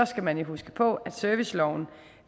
skal man jo huske på at serviceloven